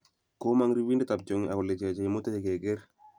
Komang ripindet ab tiongik akolecheche imutech keker